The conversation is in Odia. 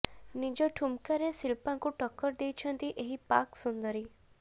ନିଜ ଠୁମକାରେ ଶିଳ୍ପାଙ୍କୁ ଟକ୍କର ଦେଇଛନ୍ତି ଏହି ପାକ ସୁନ୍ଦରୀ